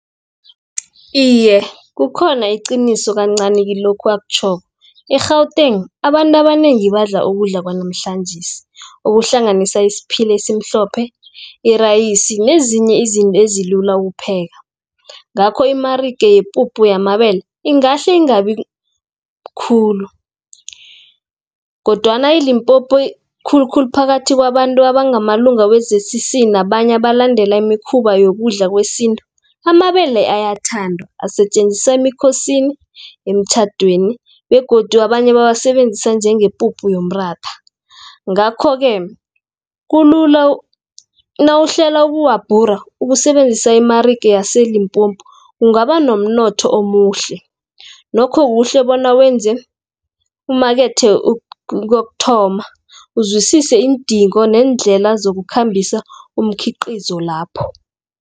Iye kukhona iqiniso kancani kilokhu akutjhoko, i-Gauteng abantu abanengi badla ukudla kwanamhlanjesi, ukuhlanganisa isiphila esimhlophe, irayisi nezinye izinto ezilula ukupheka. Ngakho imarika yipuphu yamabele ingahle ingabi khulu, kodwana i-Limpompo khulukhulu phakathi kwabantu abangamalunga we-Z_C_C, nabanye abalandela imikhuba yokudla kwesintu. Amabele ayathandwa, asetjenzisa emikhosini , emtjhadweni begodu abanye bawasebenzisa njengepuphu yomratha. Ngakho-ke, nawuhlela ukuwabhura ukusebenzisa imarika yase-Limpompo, ungabanomnotho omuhle, nokho kuhle bona umakethe kokuthoma, uzwisise iindingo neendlela zokukhambisa umkhiqizo lapho.